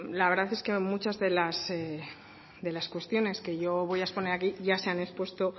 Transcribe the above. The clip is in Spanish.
la verdad es que muchas de las cuestiones que yo voy a exponer aquí ya se han expuesto